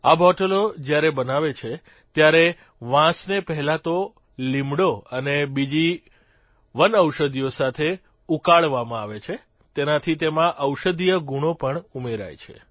આ બોટલો જયારે બનાવે છે ત્યારે વાંસને પહેલાં તો લીમડો અને બીજી વનૌષધિઓ સાથે ઉકાળવામાં આવે છે તેનાથી તેમાં ઔષધિય ગુણો પણ ઉમેરાય છે